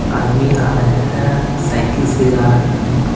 आदमी आ रहे हैं साइकिल से आ रहा है।